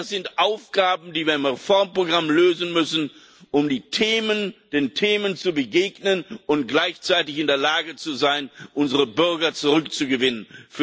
Das sind Aufgaben, die wir im Reformprogramm lösen müssen, um den Themen zu begegnen und gleichzeitig in der Lage zu sein, unsere Bürger für dieses Europa zurückzugewinnen.